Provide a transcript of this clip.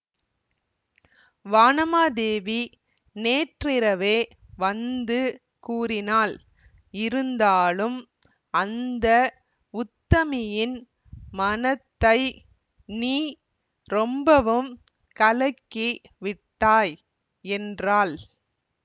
வானமாதேவி நேற்றிரவே வந்து கூறினாள் இருந்தாலும் அந்த உத்தமியின் மனத்தை நீ ரொம்பவும் கலக்கி விட்டாய் என்றாள்